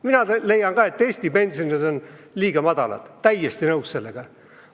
Mina leian ka, et Eesti pensionid on liiga madalad – olen täiesti nõus sellega.